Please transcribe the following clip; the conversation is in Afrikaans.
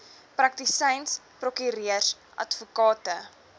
praktisyns prokureurs advokate